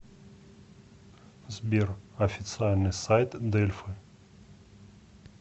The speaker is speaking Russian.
сбер официальный сайт дельфы